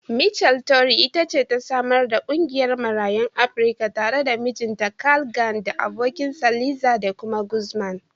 Michele Torrey it ce ta samar da ƙungiyar Marayun Afrika tare da mijinta Carl Gann da abokinsa Liza De Guzman.